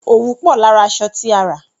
Òwú pò lára aṣọ tí a rà.